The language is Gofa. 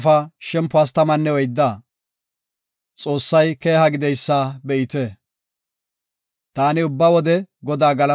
Taani ubba wode Godaa galatana; iya galatay ta doonape pacenna.